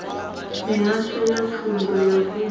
mihasho ya pfunzo ya vunḓu